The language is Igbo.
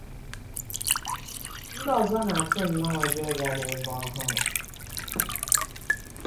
Ndị ọzọ na-atụ nnọọ ụjọ ịga n'ebe ọhụrụ.